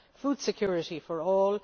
food security for all